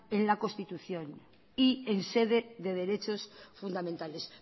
en la constitución y en sede de derechos fundamentales